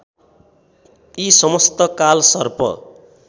यी समस्त कालसर्प